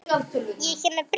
Ég er hér með bréf!